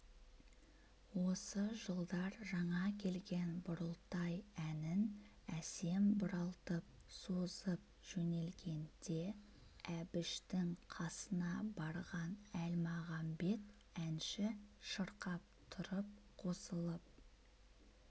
осы жылдар жаңа келген бұрылтай әнін әсем бұралтып созып жөнелгенде әбіштің қасына барған әлмағамбет әнші шырқап тұрып қосылып